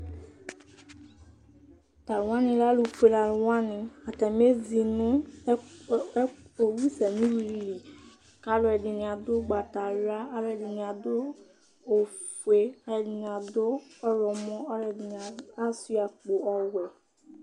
Tʊ alʊwanɩ lɛ ɛtʊfue alʊnɩ, atanɩ ezi avawu li, kʊ alʊɛdɩnɩ adʊ ugbatawla, alʊɛdɩnɩ adʊ ofue, ɛdɩnɩ adʊ ɔwlɔmɔ, ɛdɩnɩ asuia akpo ɔwɛ